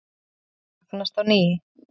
Púðurlyktin magnast á ný.